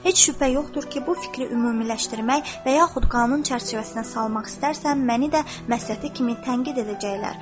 Heç şübhə yoxdur ki, bu fikri ümumiləşdirmək və yaxud qanun çərçivəsinə salmaq istərsən, məni də məsəti kimi tənqid edəcəklər.